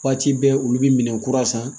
Waati bɛɛ olu bi minɛ kura san